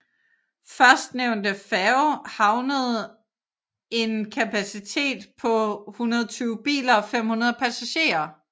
Førstnevnte færge havede en kapacitet på 120 biler og 500 passagerer